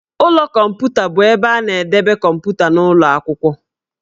Ụlọ kọmputa bụ ebe a na-edebe kọmputa n'ụlọ akwụkwọ